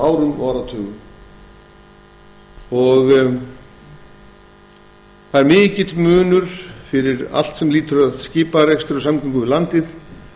á næstu árum og áratugum það er mikill munur fyrir allt sem lýtur að skiparekstri og samgöngum við landið